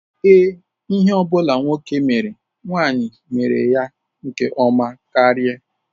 Ee, ihe ọ bụla nwoke mere nwanyị mere ya nke ọma karị.